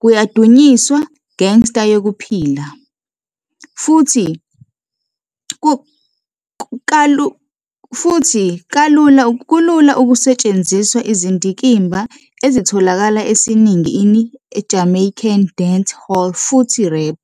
kuyadunyiswa gangster yokuphila, futhi izinto kalula ukusetshenziswa izindikimba ezitholakala esiningi Jamaican Dancehall futhi Rap.